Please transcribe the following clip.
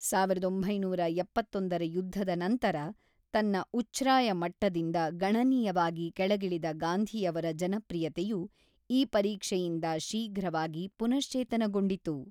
ಸಾವಿರದ ಒಂಬೈನೂರ ಎಪ್ಪತ್ತೊಂದರ ಯುದ್ಧದ ನಂತರ ತನ್ನ ಉಚ್ಛ್ರಾಯ ಮಟ್ಟದಿಂದ ಗಣನೀಯವಾಗಿ ಕೆಳಗಿಳಿದ ಗಾಂಧಿಯವರ ಜನಪ್ರಿಯತೆಯು ಈ ಪರೀಕ್ಷೆಯಿಂದ ಶೀಘ್ರವಾಗಿ ಪುನಶ್ಚೇತನಗೊಂಡಿತು.